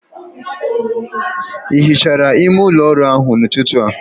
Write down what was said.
Ị hichara ime ụlọ ọrụ ahụ n'ụtụtụ a?